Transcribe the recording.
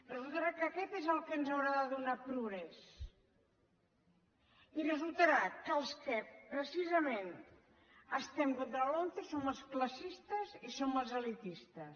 resultarà que aquest és el que ens haurà de donar progrés i resultarà que els que precisament estem contra la lomce som els classistes i som els elitistes